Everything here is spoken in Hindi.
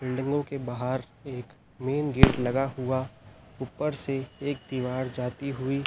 बिल्डिंगो के बहार एक मेन गेट लगा हुआ ऊपर से एक दीवार जाती हुई--